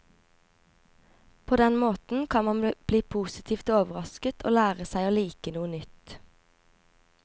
På den måten kan man bli postitivt overrasket og lære seg å like noe nytt.